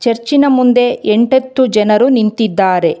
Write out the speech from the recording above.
ಚರ್ಚಿನ ಮುಂದೆ ಎಂಟತ್ತು ಜನರು ನಿಂತಿದ್ದಾರೆ.